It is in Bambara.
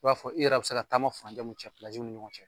U b'a fɔ i yɛrɛ bi se ka taama furancɛ mun cɛ mun ni ɲɔgɔn cɛ